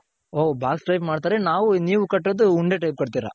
ಓ box type ಮಾಡ್ತಾರೆ ನಾವು ನೀವು ಕಟ್ಟೋದು ಉಂಡೆ type ಕಟ್ಟಿರ.